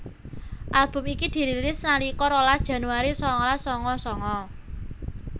Album iki dirilis nalika rolas Januari sangalas sanga sanga